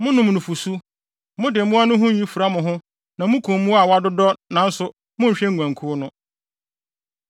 Monom nufusu, mode mmoa no ho nwi fura mo ho na mukum mmoa a wɔadodɔ nanso monhwɛ nguankuw no.